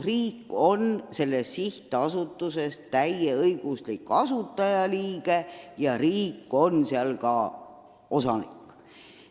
Riik on selles sihtasutuses täieõiguslik asutajaliige ja riik on seal ka osanik.